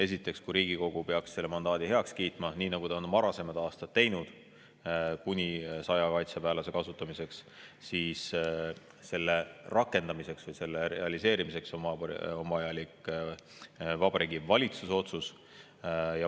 Esiteks, kui Riigikogu peaks heaks kiitma mandaadi kuni 100 kaitseväelase kasutamiseks, nii nagu ta on varasematel aastatel teinud, siis selle rakendamiseks või realiseerimiseks on vajalik Vabariigi Valitsuse otsus.